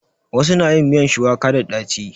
Wasu na yin miyan shuwaka da ɗaci.